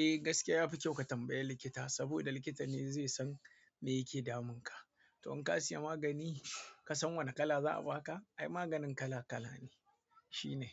Eh gaskiya yafi kyau ka tambaye likita saboda likita ne zai san me yake damun ka. To in ka siya magani ka san wane kala za a baka? Ai maganin kala kala ne. Shi ne.